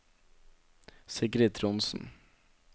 Sigrid Trondsen